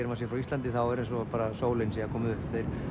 maður sé frá Íslandi er eins og sólin sé að koma upp